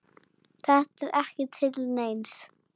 Þetta er ekki til neins.